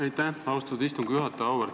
Aitäh, austatud istungi juhataja!